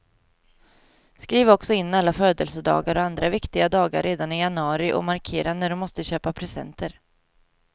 Skriv också in alla födelsedagar och andra viktiga dagar redan i januari, och markera när du måste köpa presenter.